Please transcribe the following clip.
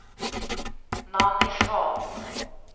Nanny Svahn